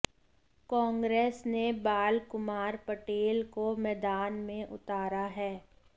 कांग्रेस ने बाल कुमार पटेल को मैदान में उतारा है